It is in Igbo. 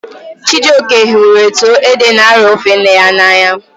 Chijioke hụrụ etu ede n'arọ ofe nne ya n'anya